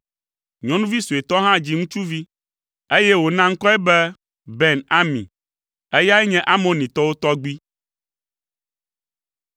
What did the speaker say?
Nyɔnuvi suetɔ hã dzi ŋutsuvi, eye wòna ŋkɔe be Ben Ami; eyae nye Amonitɔwo tɔgbui.